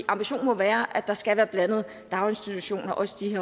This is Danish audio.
ambitionen må være at der skal være blandede daginstitutioner også i